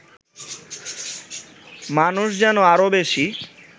মানুষ যেন আরও বেশি